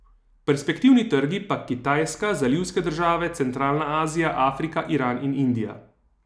Perspektivni trgi pa Kitajska, zalivske države, centralna Azija, Afrika, Iran in Indija.